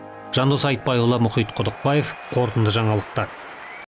жандос айтбайұлы мұхит құдықбаев қорытынды жаңалықтар